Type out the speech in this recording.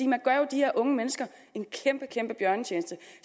man gør jo de her unge mennesker en kæmpe kæmpe bjørnetjeneste